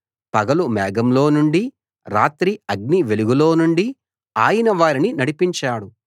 పగలు మేఘంలో నుండీ రాత్రి అగ్ని వెలుగులో నుండీ ఆయన వారిని నడిపించాడు